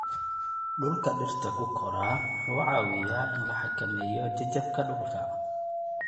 Dhulka dhirta ku koraa wuxuu caawiyaa in la xakameeyo jajabka dhulka.